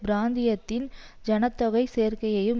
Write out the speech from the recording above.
பிராந்தியத்தின் சன தொகை சேர்க்கையையும்